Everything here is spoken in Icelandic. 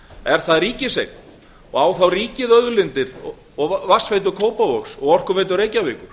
er það ríkiseign og á þá ríkið að eiga vatnsveitu kópavogs og orkuveitu reykjavíkur